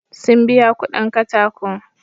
Sun biya kuɗin katako.